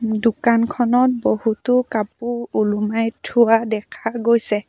দোকানখনত বহুতো কাপোৰ ওলোমাই থোৱা দেখা গৈছে।